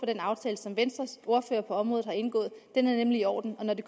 den aftale som venstres ordfører på området har indgået den er nemlig i orden og når de